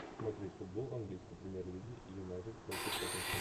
смотреть футбол английской премьер лиги юнайтед против тоттенхэм